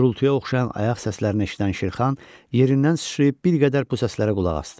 Gurultuya oxşayan ayaq səslərini eşidən Şirxan yerindən sıçrayıb bir qədər bu səslərə qulaq asdı.